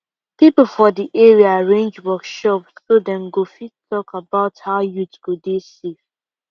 people for the area arrange workshop so dem go fit talk about how youth go dey safe